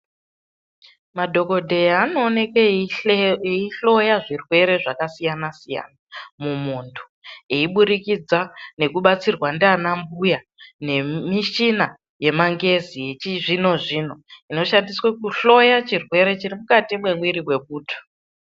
Madhokodheya anooneke eyihloya zvirwere zvakasiyana siyana mumuntu eiburikidza nekubatsirwa ndiana mbuya nemichina yemangezi yechizvino zvino inoshandiswa kuhloya chirwere chirimukati memuiri memuntu.